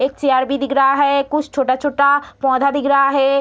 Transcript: एक चेयर भी दिख रहा है कुछ छोटा-छोटा पौधा दिख रहा है।